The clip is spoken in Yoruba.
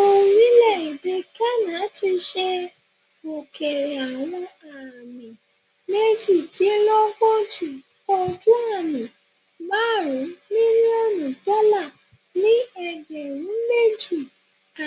Orile-ede Ghana ti ṣe okeere awọn aami mejidinlogoji ojuami marun milionu dọla ni ẹgbẹrun meji